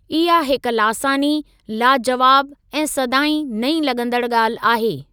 इहा हिक लासानी, लाज़वाब ऐं सदाईं नईं लॻंदड़ ॻाल्हि आहे।